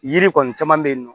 Yiri kɔni caman bɛ yen nɔ